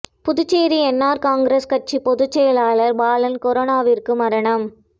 Puducherry N R Congress கட்சி பொதுச்செயலாளர் பாலன் கொரோனா விற்கு மரணம்